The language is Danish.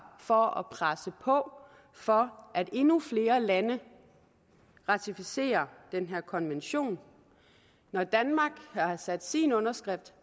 for at presse på for at endnu flere lande ratificerer den her konvention når danmark har sat sin underskrift